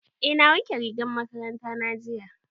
Eh na wanke rigar makaranta na jiya.